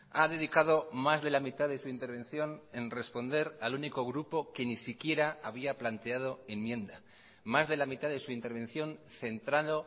ha dedicado más de la mitad de su intervención en responder al único grupo que ni siquiera había planteado enmienda más de la mitad de su intervención centrado